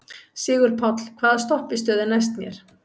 Sigurpáll, hvaða stoppistöð er næst mér?